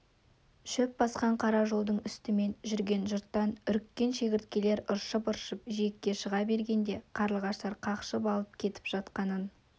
шөп басқан қара жолдың үстімен жүрген жұрттан үріккен шегірткелер ыршып-ыршып жиекке шыға бергенде қарлығаштар қақшып алып кетіп жатқанын